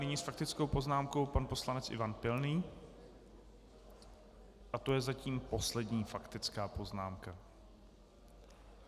Nyní s faktickou poznámkou pan poslanec Ivan Pilný a to je zatím poslední faktická poznámka.